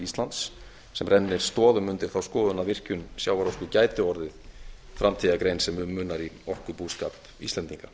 íslands sem rennir stoðum undir þá skoðun að virkjun sjávarorku gæti orðið framtíðargrein sem um munar í orkubúskap íslendinga